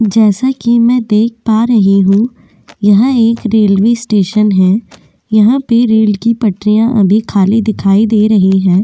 जैसा कि मैं देख पा रही हूं यहा एक रेल्वे स्टेशन है यहां पर रेल की पटरिया अभी खाली दिखाई दे रही है।